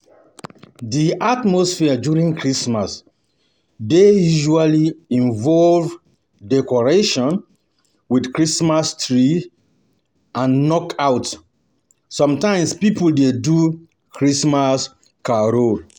Di atmosphere during christmas dey usually involve decoration with christmas tree and knockout, some times pipo dey do christmas carol